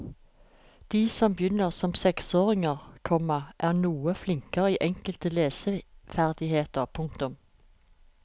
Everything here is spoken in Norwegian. De som begynner som seksåringer, komma er noe flinkere i enkelte leseferdigheter. punktum